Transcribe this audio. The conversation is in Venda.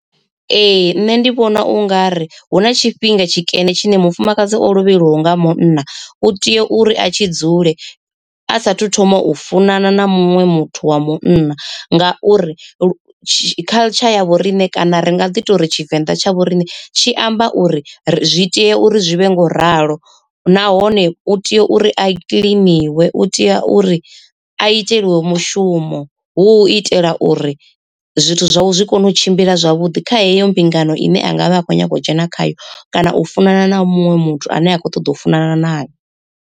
Ee nṋe ndi vhona u nga ri hu na tshifhinga tshikene tshine mufumakadzi o lovheliwaho nga munna u tea uri a tshi dzule a sathu thoma u funana na muṅwe muthu wa munna. Ngauri culture ya vhoriṋe kana ri nga ḓi tori tshivenḓa tsha vhoriṋe tshi amba uri zwi tea uri zwi vhe ngo ralo, nahone u tea uri a kiḽiniwe u tea uri a iteliwe mushumo hu itela uri zwithu zwawe zwi kone u tshimbila zwavhuḓi kha heyo mbingano ine anga vha akhou nyaga u dzhena khayo, kana u funana na muṅwe muthu ane a khou ṱoḓa u funana naye.